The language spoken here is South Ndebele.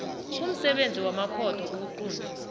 kumsebenzi wamakhotho ukuqunta